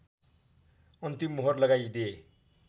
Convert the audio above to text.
अन्तिम मोहर लगाइदिए